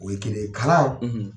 O ye kelen ye, kalan